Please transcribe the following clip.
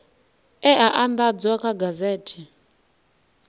e a andadzwa kha gazethe